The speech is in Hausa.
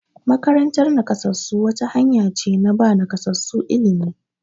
Makarantar nakasassu wata hanya ce na ba nakasassu ilimi.